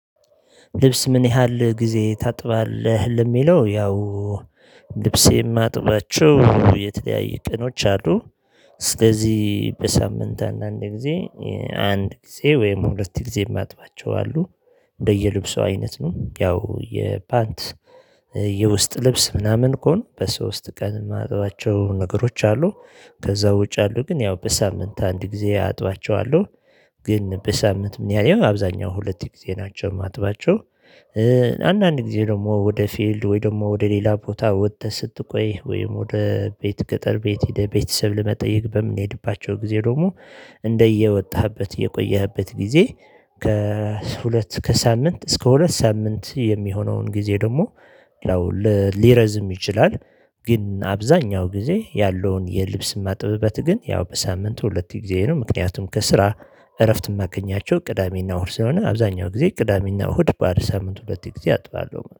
ልብስ ምን ያህል ጊዜ ታጥባለ? ለሚለው ያው ልብሴም ማጥባችሁ የተለያዩ ቀኖች አሉ። ስለዚህ በሳምንት አንዳንድ ጊዜ አንድ ጊዜ ወይም ሁለት ጊዜ የማጥባቸው አሉ። እንደየልብሷ አይነት ነ። ያው የፓንት፣ የውስጥ ልብስ፣ ምናምን እኮ በሶስት ቀን የማጥባቸው ነገሮች አሉ። ከዛ ውጭ አሉ ግን ያው በሳምንት አንድ ጊዜ አጥባቸዋለሁ። ግን በሳምንት ምን ያህል አብዛኛው ሁለት ጊዜ ናቸው የማጥባቸው። አንዳንድ ጊዜ ደግሞ ወደ ፊልድ ወይ ደግሞ ወደ ሌላ ቦታ ወጥተህ ስትቆይ ወይም ወደ ቤት ገጠር ቤት ሄደ ቤተሰብ ለመጠየቅ በምንሄድባቸው ጊዜ ደግሞ እንደ እየወጣህበት እየቆየህበት ጊዜ ከሁለት ከሳምንት እስከ ሁለት ሳምንት የሚሆነውን ጊዜ ደግሞ ሊረዝም ይችላል። ግን አብዛኛው ጊዜ ያለውን የልብስ ማጥበበት ግን ያው በሳምንቱ ሁለት ጊዜ ነው ምክንያቱም ከስራ እረፍት የማገኛቸው ቅዳሜና እሁድ ስለሆነ አብዛኛው ጊዜ ቅዳሜና እሁድ ባር ሳምንት ሁለት ጊዜ አጥባለሁ።